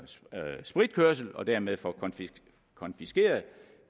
spritkørsel og dermed får konfiskeret